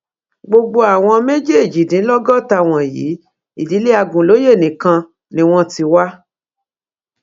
gbogbo àwọn méjèèjìdínlọgọta wọnyí ìdílé agunlóye nìkan ni wọn ti wá